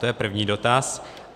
To je první dotaz.